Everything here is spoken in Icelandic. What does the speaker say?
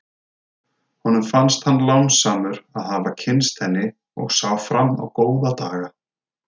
Honum fannst hann lánsamur að hafa kynnst henni og sá fram á góða daga.